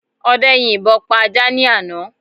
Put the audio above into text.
Ọdẹ yin ìbọ pa ajá ní àná